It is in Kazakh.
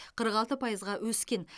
қырық алты пайызға өскен